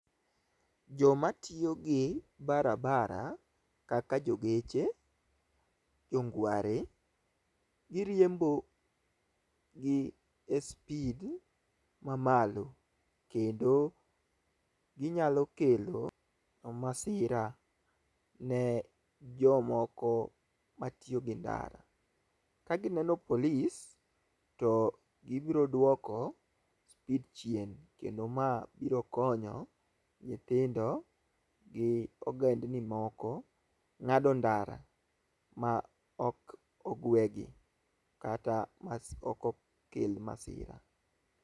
Joma tiyo gi barabara kaka jogeche, jongware giriembo gi e speed mamalo kendo ginyalo kelo masira ne jomoko matiyo gi ndara. Ka gineno polis to gibro duoko speed chien kendo ma biro konyo nythindo gi ogendni moko ngi ng'ado ndara ma ok ogwe gi kata ok okel masira.